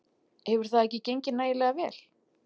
Hefur það ekki gengið nægilega vel?